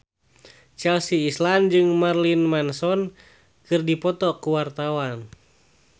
Chelsea Islan jeung Marilyn Manson keur dipoto ku wartawan